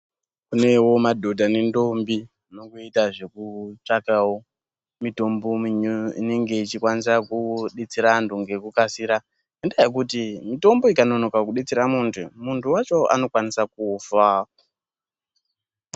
Kunewo madhodha nendombi zvinoita zvekutsvakawo mitombo inowanza kudetsera antu ngekukasika .lndaa yekuti mitombo ikanonoka kudetsera muntu , muntu wacho anokwanisa kufa .